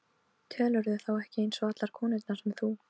Telurðu þá ekki eins og allar konurnar sem þú?